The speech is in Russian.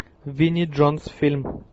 винни джонс фильм